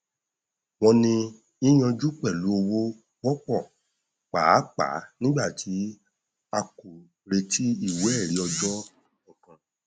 wọn ní yíyanjú pẹlú owó wọpọ pàápàá nígbàtí a kò retí ìwé ẹrí ọjà kankan